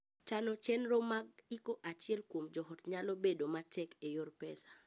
Chano chenro mag iko achiel kuom joot nyalo bedo matek e yor pesa.